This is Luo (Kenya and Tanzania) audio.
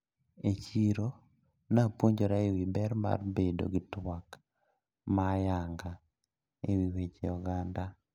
E chiro napuonjra ewi ber bedo gi twak ma ayanga ewi weche oganda.